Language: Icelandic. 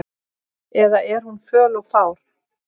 Eða er hún föl og fá?